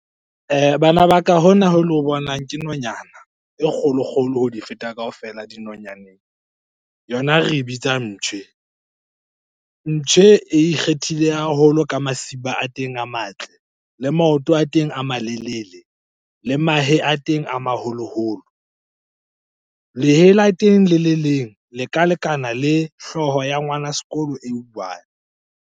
Bana ba ka hona ho le o bonang ke nonyana e kgolokgolo ho di feta kaofela dinonyaneng. Yona re e bitsa Mptjhe. Mptjhe e ikgethile haholo ka masiba a teng eng a matle, le maoto a teng a malelele, le mahe a teng a maholoholo. Lehe la teng le le leng leka lekana le hlooho ya ngwana sekolo e one.